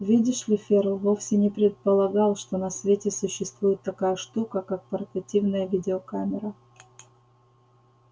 видишь ли ферл вовсе не предполагал что на свете существует такая штука как портативная видеокамера